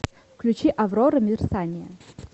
включи аврора мерцание